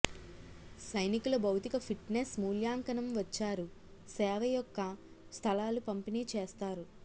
సైనికుల భౌతిక ఫిట్నెస్ మూల్యాంకనం వచ్చారు సేవ యొక్క స్థలాలు పంపిణీ చేస్తారు